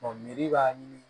b'a ɲini